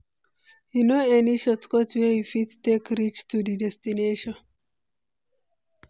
You know any shortcut wey we fit take reach to di destination?